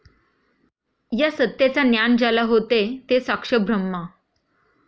या सत्तेचा ज्ञान ज्याला होते ते साक्ष ब्रह्मा.